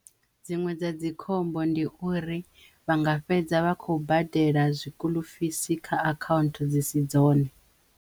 Dziṅwe dza dzi khombo ndi uri vha nga fhedza vha kho badela zwikuḽufisi kha akhanthu dzi si dzone.